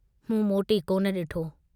मूं मोटी कोन डिठो।